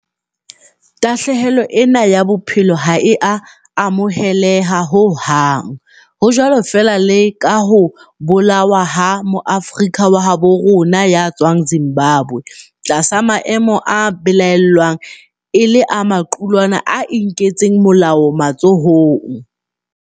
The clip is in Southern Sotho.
Tahlehelo ena ya bophelo ha e a amoheleha ho hang, ho jwalo feela le ka ho bolawa ha Moafrika wa habo rona ya tswang Zimbabwe tlasa maemo a belaellwang e le a maqulwana a inketseng molao matsohong.